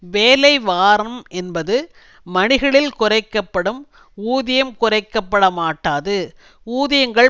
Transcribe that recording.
வேலை வாரம் என்பது மணிகளில் குறைக்க படும் ஊதியம் குறைக்க பட மாட்டாது ஊதியங்கள்